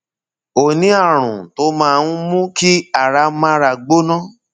o ní ààrùn tó máa ń mú kí ara mára gbóná